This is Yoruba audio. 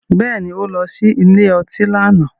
Bẹ́ẹ̀ni, ó lọ sí ilé ọtí lánàá.